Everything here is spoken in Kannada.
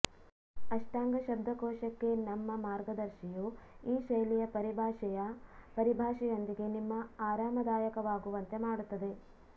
ಅಷ್ಟಾಂಗ ಶಬ್ದಕೋಶಕ್ಕೆ ನಮ್ಮ ಮಾರ್ಗದರ್ಶಿಯು ಈ ಶೈಲಿಯ ಪರಿಭಾಷೆಯ ಪರಿಭಾಷೆಯೊಂದಿಗೆ ನಿಮ್ಮ ಆರಾಮದಾಯಕವಾಗುವಂತೆ ಮಾಡುತ್ತದೆ